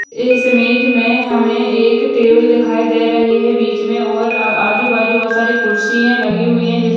इस इमेज में हम एक टेबल दिखाई दे रही है बीच में और अ आजू-बाजू बोहोत से कुर्सियां लगी हुई है जिस --